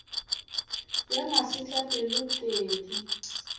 ya masetlapelo t e di